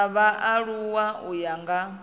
dza vhaaluwa u ya nga